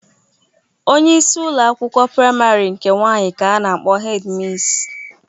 Onyeisi ụlọ akwụkwọ praịmarị nke nwaanyị ka a na-akpọ hedi misi.